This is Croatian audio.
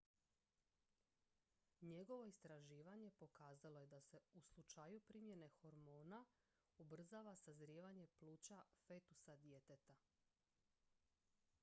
njegovo istraživanje pokazalo je da se u slučaju primjene hormona ubrzava sazrijevanje pluća fetusa djeteta